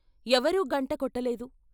ఎవరూ గంట కొట్టలేదు.